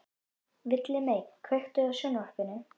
Villimey, kveiktu á sjónvarpinu.